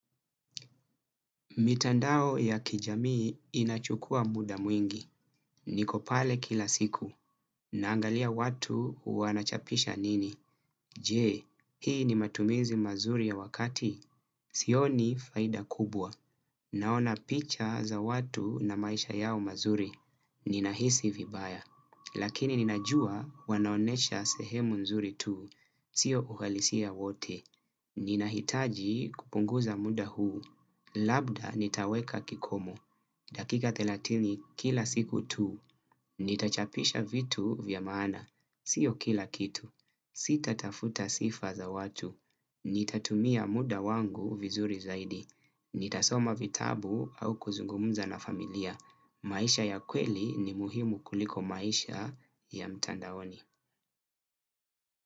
Mitandao ya kijamii inachukua muda mwingi. Niko pale kila siku. Naangalia watu wanachapisha nini. Jee, hii ni matumizi mazuri ya wakati. Sioni faida kubwa. Naona picha za watu na maisha yao mazuri. Nina hisi vibaya. Lakini ninajua wanaonyesha sehemu nzuri tu. Sio uhalisia wote. Ninahitaji kupunguza muda huu. Labda nitaweka kikomo. Dakika thelathini kila siku tu. Nitachapisha vitu vya maana. Sio kila kitu. Sita tafuta sifa za watu. Nitatumia muda wangu vizuri zaidi. Nitasoma vitabu au kuzungumza na familia. Maisha ya kweli ni muhimu kuliko maisha ya mtandaoni.